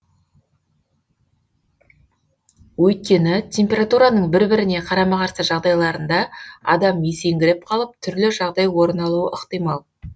өйткені температураның бір біріне қарама қарсы жағдайларында адам есеңгіреп қалып түрлі жағдай орын алуы ықтимал